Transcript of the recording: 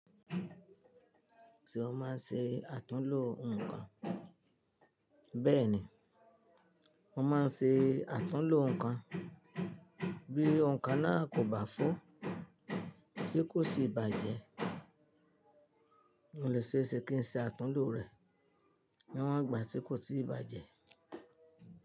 Ṣé o máa ń ṣe àtúnlo nǹkan? Bẹ́ẹ̀ni, mo máa ń ṣe àtúnlo nǹkan bí ohun kan náà kò bá fó, tí kò sì bàjẹ́. O lè ṣeéṣe kí n ṣe àtúnlo rẹ̀ ní wọ́n ìgbà tí kò tíì bàjẹ́.